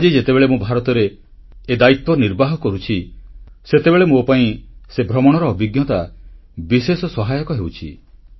ଆଜି ଯେତେବେଳେ ମୁଁ ଭାରତରେ ଏ ଦାୟିତ୍ୱ ନିର୍ବାହ କରୁଛି ସେତେବେଳେ ମୋ ପାଇଁ ସେ ଭ୍ରମଣର ଅଭିଜ୍ଞତା ବିଶେଷ ସହାୟକ ହେଉଛି